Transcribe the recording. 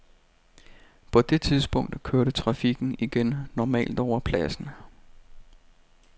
På det tidspunkt kørte trafikken igen normalt over pladsen.